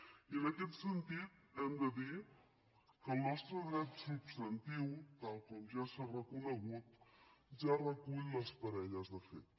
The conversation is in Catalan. i en aquest sentit hem de dir que el nostre dret substantiu tal com ja s’ha reconegut ja recull les parelles de fet